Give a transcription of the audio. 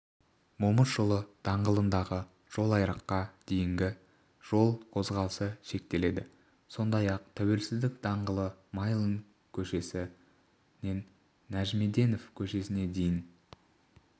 момышұлы даңғылындағы жолайрыққа дейін жол қозғалысы шектеледі сондай-ақ тәуелсіздік даңғылы майлин көшесінен нәжімеденов көшесіне дейін